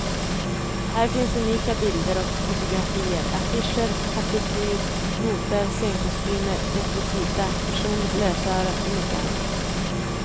Här finns unika bilder och fotografier, affischer, partitur, noter, scenkostymer, rekvisita, personligt lösöre och mycket annat.